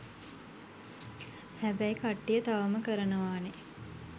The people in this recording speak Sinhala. හැබැයි කට්ටිය තවම කරනවානේ.